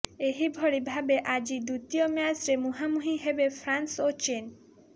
ଏହି ଭଳି ଭାବେ ଆଜି ଦ୍ୱିତୀୟ ମ୍ୟାଚ୍ରେ ମୁହାଁମୁହିଁ ହେବେ ଫ୍ରାନ୍ସ ଓ ଚୀନ୍